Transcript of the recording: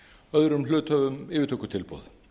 öðrum hluthöfum yfirtökutilboð